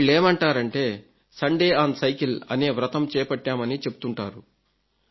వీళ్లేమంటారంటే Sunday on cycle అనే వ్రతం చేపట్టామని చెప్తుంటారు